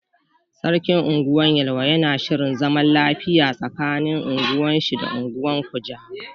Sarkin unguwar yelwa yana shirin zaman lafiya tsaƙanin ungwar shi da ungwan kujama.